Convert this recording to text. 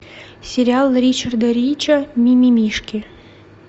сериал ричарда рича мимимишки